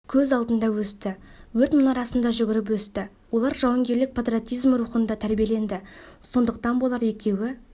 көз алдында өсті өрт мұнарасында жүгіріп өсті олар жауынгерлік патриотизм рухында тәрбиеленді сондықтан болар екеуі